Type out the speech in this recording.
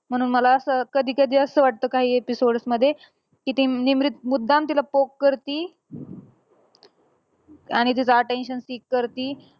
म्हणून मला असं कधीकधी असं वाटतं काही episodes मध्ये. कि ती निमरीत मुद्दाम तिला poke करती. आणि तिचं attention seek करती.